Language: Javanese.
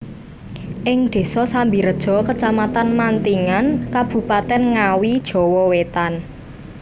Ing Désa Sambirejo Kecamatan Mantingan Kabupatèn Ngawi Jawa Wétan